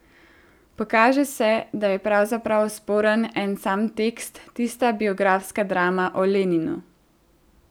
Pokaže se, da je pravzaprav sporen en sam tekst, tista biografska drama o Leninu.